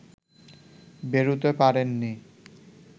বেরুতে পারেননি